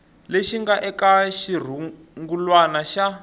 lexi nga eka xirungulwana xa